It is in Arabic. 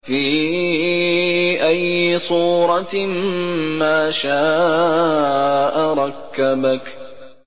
فِي أَيِّ صُورَةٍ مَّا شَاءَ رَكَّبَكَ